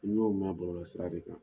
N y'o mɛn bɔlɔlɔsira de kan.